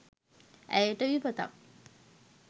ඇයට විපතක්